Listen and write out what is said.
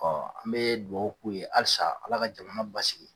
an bee duwawu k'u ye halisa Ala ka jamana basigi